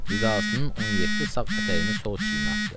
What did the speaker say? Ridasının 17 sağ ətəyini sol çiyininə atdı.